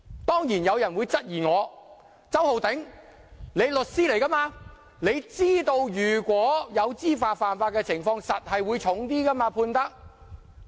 當然，有人會質疑我："周浩鼎，你是律師，你知道如果有知法犯法的情況，法庭一定會判得較重。